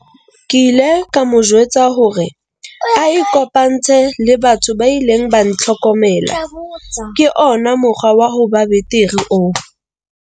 Ke ile ka mo jwetsa hore a ikopantshe le batho ba ileng ba ntlhokomela ke ona mokgwa wa ho ba betere oo.